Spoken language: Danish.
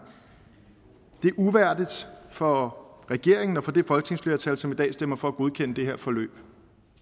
det er uværdigt for regeringen og for det folketingsflertal som i dag stemmer for at godkende det her forløb